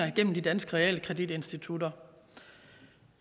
igennem de danske realkreditinstitutter